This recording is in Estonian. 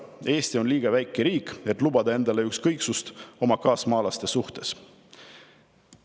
Eesti on liiga väike riik, et lubada endale ükskõiksust oma kaasmaalaste suhtes.